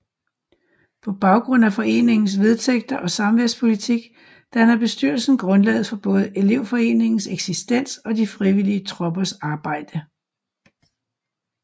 På baggrund af foreningens vedtægter og samværspolitik danner bestyrelsen grundlaget for både elevforeningens eksistens og de frivillige troppers arbejde